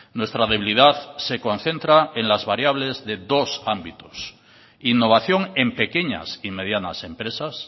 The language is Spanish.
nuestra debilidad se concentra en las variables de dos ámbitos innovación en pequeñas y medianas empresas